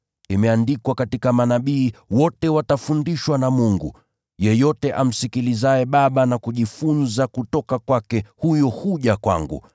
Imeandikwa katika Manabii, ‘Wote watafundishwa na Mungu.’ Yeyote amsikilizaye Baba na kujifunza kutoka kwake, huyo huja kwangu.